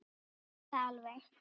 Kannski hætta alveg.